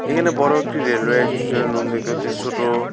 এখানে বড় একটি রেলওয়ে স্টেশনের রুম দেখতে পারতেছি ছোট।